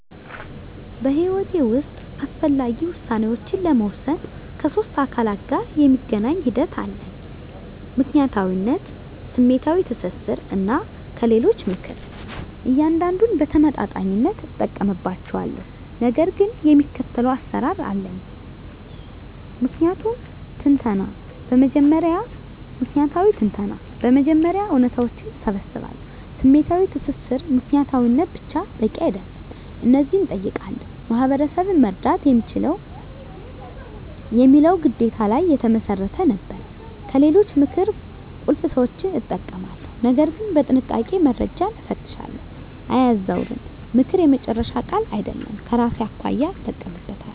በሕይወቴ ውስጥ አስፈላጊ ውሳኔዎችን ለመወሰን ከሶስት አካላት ጋር የሚገናኝ ሂደት አለኝ፦ ምክንያታዊነት፣ ስሜታዊ ትስስር፣ እና ከሌሎች ምክር። እያንዳንዱን በተመጣጣኝነት እጠቀምባቸዋለሁ፣ ነገር ግን የሚከተለው አሰራር አለኝ። ምክንያታዊ ትንተና በመጀመሪያ እውነታዎችን እሰባስባለሁ። #ስሜታዊ ትስስር ምክንያታዊነት ብቻ በቂ አይደለም። እነዚህን እጠይቃለሁ፦ "ማህበረሰብን መርዳት" የሚለው ግዴታ ላይ የተመሰረተ ነበር። #ከሌሎች ምክር ቁልፍ ሰዎችን እጠቀማለሁ፣ ነገር ግን በጥንቃቄ፦ - መረጃን እፈትሻለሁ፣ አያዛውርም፦ ምክር የመጨረሻ ቃል አይደለም፤ ከራሴ አኳያ እጠቀምበታለሁ።